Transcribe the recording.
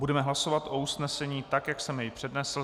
Budeme hlasovat o usnesení tak, jak jsem jej přednesl.